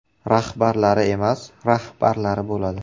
“Raxbarlari” emas “rahbarlari” bo‘ladi.